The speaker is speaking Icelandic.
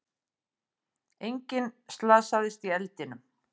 Enginn slasaðist í eldinum